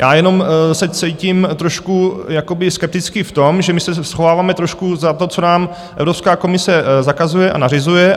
Já jenom se cítím trošku jakoby skeptický v tom, že my se schováváme trošku za to, co nám Evropská komise zakazuje a nařizuje.